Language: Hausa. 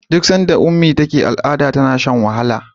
duk sanda ummi take al'ada tana Shan wahala